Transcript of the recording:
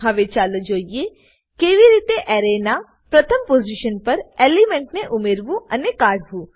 હવે ચાલો જોઈએ કેવી રીતે એરેના પ્રથમ પોઝીશન પર એલિમેન્ટને ઉમેરવું અને કાઢી કાઢવું